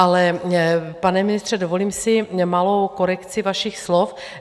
Ale pane ministře, dovolím si malou korekci vašich slov.